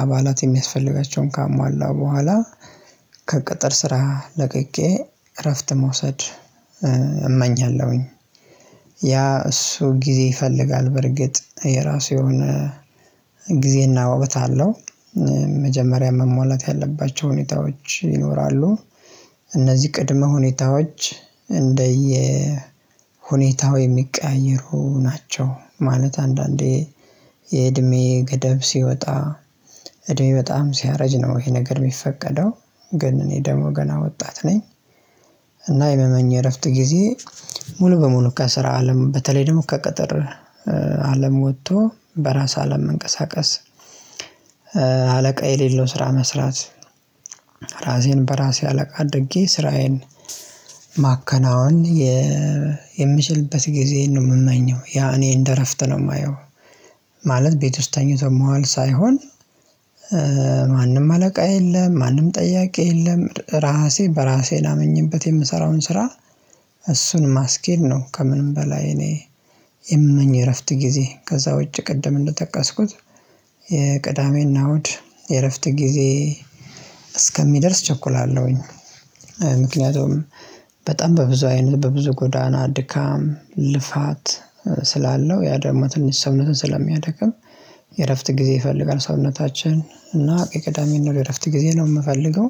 አባላት የሚያስፈልጋቸውን ካሟላ በኋላ ከቅጥር ስራ ለቅቄ እረፍት መውሰድ እመኛለሁኝ። ያ እሱ ጊዜ ይፈልጋል በርግጥ የራሱ የሆነ ጊዜና ወቅት አለው። መጀመሪያ መሟላት ያለባቸው ሁኔታዎች ይኖራሉ። እነዚህ ቅድመ ሁኔታዎች እንደየ ሁኔታው የሚቀያየሩ ናቸው። ማለት አንዳንዴ የእድሜ ገደብ ሲወጣ እድሜ በጣም ሲያረጅ ነው ይሄ ነገር የሚፈቀደው። ግን እኔ ደሞ ገና ወጣት ነኝ። እና የምመኝ እረፍት ጊዜ ሙሉ በሙሉ ከስራ አለም በተለይ ደግሞ ከቀጠር አለም ወጥቶ በራስ አለም መንቀሳቀስ። አለቃ የሌለው ስራ መስራት። ራሴን በራሴ አለቃ አድርጌ ስራዬን ማከናወን የምችልበት ጊዜ ነው የምመኘው ያ እኔ እንደ እረፍት ነው የማየው። ማለት ቤት ውስጥ ተኝቶ መዋል ሳይሆን። ማንም አለቃ የለም ማንም ጠያቂ የለም ራሴ በራሴ ላመኝበት የምሰራውን ስራ እሱን ማስኬድ ነው። ከምንም በላይ እኔ የምመኝ የእረፍት ጊዜ ከዛ ውጪ ቅድም እንደጠቀስኩት የቅዳሜና ውድ የእረፍት ጊዜ እስከሚደርስ እቸኩላለሁኝ። ምክንያቱም በጣም በብዙ አይነት በብዙ ጎዳና ድካም ልፋት ስላለው ያ ደግማ ትንሽ ሰውነትን ስለሚያደክም የእረፍት ጊዜ ይፈልጋል ሰውነታችን እና የቅዳሜና እሁድ የእረፍት ጊዜ ነው የምፈልገው።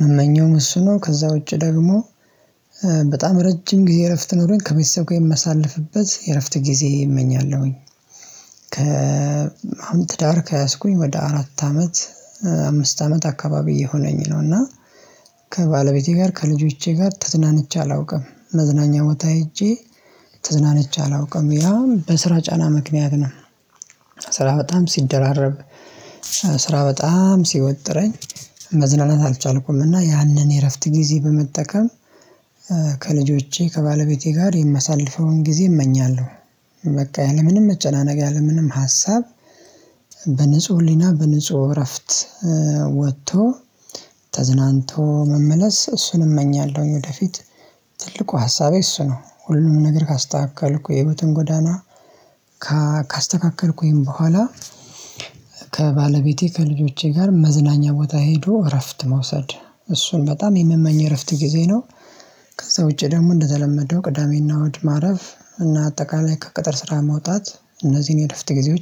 ምመኘውም እሱ ነው ከዛ ውጪ ደግሞ በጣም ረጅም ጊዜ እረፍት ኖሮኝ ከቤተሰብ ጋር የማሳልፍበት የእረፍት ጊዜ እመኛለሁኝ። ከአሁን ከትዳር ከያዝኩኝ ወደ አራት አመት አምስት አመት አካባቢ እየሆነኝ ነው እና ከባለቤቴ ጋር ከልጆቼ ጋር ተዝናንቼ አላውቅም መዝናኛ ቦታ ሄጄ ተዝናንቼ አላውቅም ያውም በስራ ጫና ምክንያት ነው። ስራ በጣም ሲደራረብ ስራ በጣም ሲወጥረኝ መዝናናት አልቻልኩም። እና ያንን የእረፍት ጊዜ በመጠቀም ከልጆቼ ከባለቤቴ ጋር የማሳልፈውን ጊዜ እመኛለሁ። በቃ ያለምንም መጨናነቅ ያለምንም ሀሳብ በንጹህ ህሊና በንጹህ እረፍት ወጥቶ ተዝናንቶ መመለስ እሱን እመኛለሁኝ። ወደፊት ትልቁ ሀሳቤ እሱ ነው ሁሉም ነገር ካስተካከልኩ የህይወትን ጎዳና ካስተካከልኩኝ በኋላ ከባለቤቴ ከልጆቼ ጋር መዝናኛ ቦታ ሄዶ እረፍት መውሰድ እሱን በጣም የምመኝ እረፍት ጊዜ ነው። ከዛ ውጪ ደግሞ እንደተለመደው ቅዳሜና እሁድ ማረፍ እና አጠቃላይ ከቅጥር ስራ መውጣት እነዚህን የእረፍተ ጊዜዎች